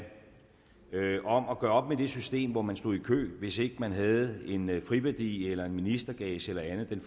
om at gøre op med det system hvor man stod i kø hvis ikke man havde en friværdi eller en ministergage eller andet